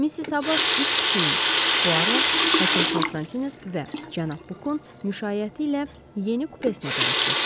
Missis Habard üç kişinin – Puaro, həkim Konstantines və cənab Bukan müşayiəti ilə yeni kupesinə tərəf getdi.